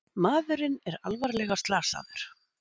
Maðurinn alvarlega slasaður